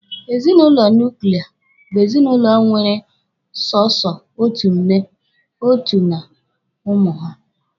Ezinụlọ nuklia bụ ezinụlọ nwere sọsọ otu nne, otu na n'ụmụ ha.